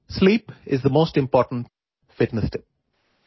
میرے لیے نیند سب سے اہم فٹنس ٹِپ ہے